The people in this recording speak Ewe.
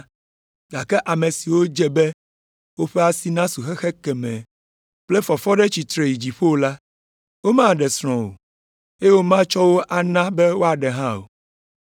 Gake ame siwo dze be woƒe asi nasu xexe kemɛ kple fɔfɔ ɖe tsitre yi dziƒo la, womaɖe srɔ̃ o, eye womatsɔ wo ana be woaɖe hã o.